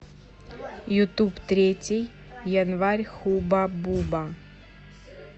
ютуб третий январь хубба бубба